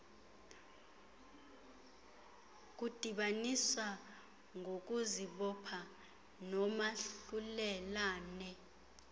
kudibanisa ngokuzibopha noomahlulelane